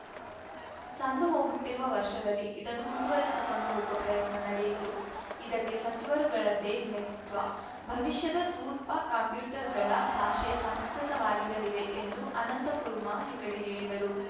ಸಂದುಹೋಗುತ್ತಿರುವ ವರ್ಷದಲ್ಲಿ ಇದನ್ನು ಮುಂದುವರಿಸಿಕೊಂಡು ಹೋಗುವ ಪ್ರಯತ್ನ ನಡೆಯಿತು ಇದಕ್ಕೆ ಸಚಿವರುಗಳದ್ದೇ ನೇತೃತ್ವ ಭವಿಷ್ಯದ ಸೂರ್ಪಾ ಕಂಪ್ಯೂಟರ್‌ಗಳ ಭಾಷೆ ಸಂಸ್ಕೃತವಾಗಿರಲಿದೆ ಎಂದು ಅನಂತಕುರ್ಮಾ ಹೆಗಡೆ ಹೇಳಿದರು